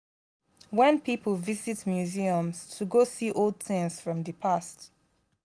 wen pipo visit museums to go see old things from di past